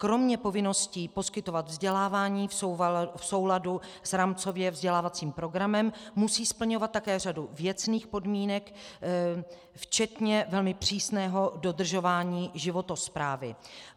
Kromě povinností poskytovat vzdělávání v souladu s rámcově vzdělávacím programem musí splňovat také řadu věcných podmínek včetně velmi přísného dodržování životosprávy.